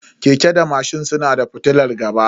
Keke da mashin suna da fitilar gaba.